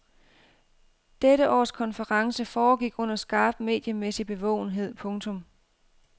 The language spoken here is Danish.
Dette års konference foregik under skarp mediemæssig bevågenhed. punktum